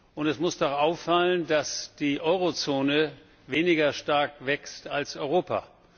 Und es muss doch auffallen, dass die Eurozone weniger stark wächst als Europa.